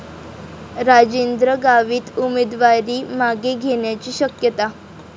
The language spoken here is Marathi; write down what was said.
राजेंद्र गावित उमेदवारी मागे घेण्याची शक्यता